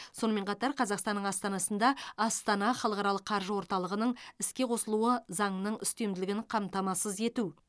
сонымен қатар қазақстанның астанасында астана халықаралық қаржы орталығының іске қосылуы заңның үстемділігін қамтамасыз ету